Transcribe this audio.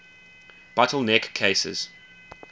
bottle neck cases